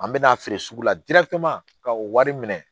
An bɛ n'a feere sugu la ka o wari minɛ